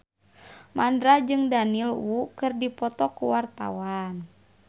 Mandra jeung Daniel Wu keur dipoto ku wartawan